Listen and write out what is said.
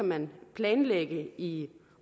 man planlægge i